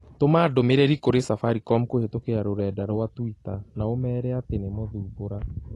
Tũma ndũmĩrĩri kũrĩ Safaricom kũhĩtũkĩra rũrenda rũa tũita na ũmeere atĩ nĩ mthumbũra